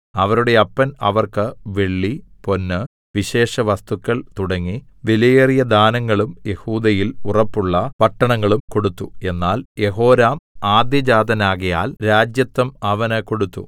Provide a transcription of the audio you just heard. അവരുടെ അപ്പൻ അവർക്ക് വെള്ളി പൊന്ന് വിശേഷവസ്തുക്കൾ തുടങ്ങി വിലയേറിയ ദാനങ്ങളും യെഹൂദയിൽ ഉറപ്പുള്ള പട്ടണങ്ങളും കൊടുത്തു എന്നാൽ യെഹോരാം ആദ്യജാതനാകയാൽ രാജത്വം അവന് കൊടുത്തു